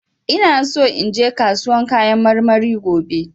ina so inje kasuwan kayan marmari gobe.